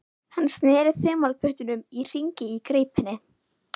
Hann sneri þumalputtunum í hringi í greipinni.